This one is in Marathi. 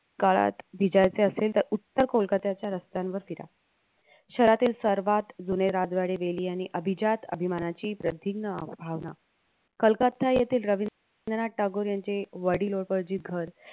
काळात भिजायचे असेल तर उत्तर कोलकत्याच्या रस्त्यांवर फिरा. शहरातील सर्वात जुने राजवाडे वेली आणि अभिजात अभिमानाची प्रधिन्ग अं भावना कलकत्ता येथे रवींद्रनाथ टागोर यांचे वडील उपार्जित घर